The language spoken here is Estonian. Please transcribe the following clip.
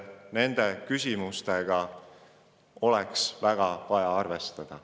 Nende küsimustega oleks vaja arvestada.